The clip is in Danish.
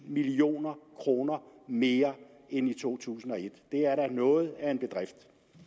million kroner mere end i to tusind og et det er da noget af en bedrift